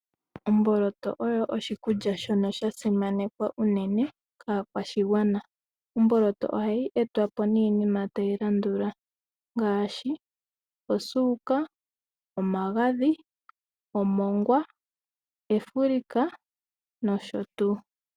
Omboloto oyo oshikulya shono sha simanekwa unene kaakwashigwana. Omboloto ohayi etwapo niinima tayi landula ngaashi osuuka, omagadhi, omongwa, efulika nosho tuu.